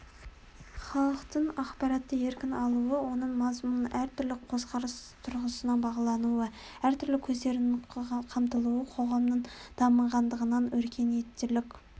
халықтың ақпаратты еркін алуы оның мазмұнының әр түрлі көзқарас тұрғысынан бағалануы әр түрлі көздердің қамтылуы қоғамның дамығандығынан өркениеттілік